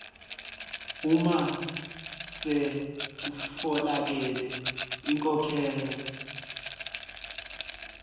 uma sekutfolakele inkhokhelo